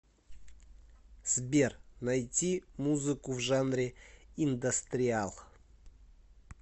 сбер найти музыку в жанре индастриал